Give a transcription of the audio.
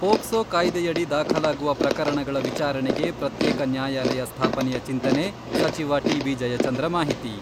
POCSO ಕಾಯ್ದೆಯಡಿ ದಾಖಲಾಗುವ ಪ್ರಕರಣಗಳ ವಿಚಾರಣೆಗೆ ಪ್ರತ್ಯೇಕ ನ್ಯಾಯಾಲಯ ಸ್ಥಾಪನೆಯ ಚಿಂತನೆ, ಸಚಿವ ಟಿ.ಬಿ.ಜಯಚಂದ್ರ ಮಾಹಿತಿ,